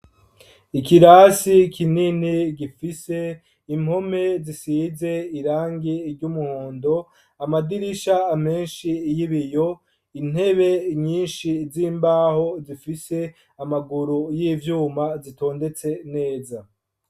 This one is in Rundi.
Ikirasi kinini gifise impome zisize irangi ry' umuhondo, amadirisha menshi y' ibiyo, intebe nyinshi z' imbaho zifise amaguru y' ivyuma zitondetse neza.